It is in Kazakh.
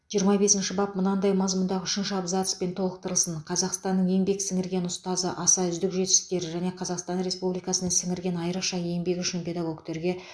жиырма бесінші бап мынадай мазмұндағы үшінші абзацпен толықтырылсын қазақстанның еңбек сіңірген ұстазы аса үздік жетістіктері және қазақстан республикасына сіңірген айрықша еңбегі үшін педагогтерге